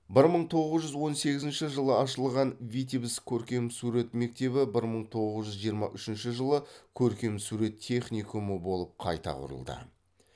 бір мың тоғыз жүз он сегізінші жылы ашылған витебск көркемсурет мектебі бір мың тоғыз жүз жиырма үшінші жылы көркемсурет техникумы болып қайта құрылды